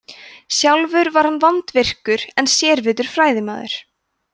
sjálfur var hann vandvirkur en sérvitur fræðimaður